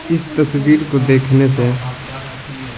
इस तस्वीर को देखने से--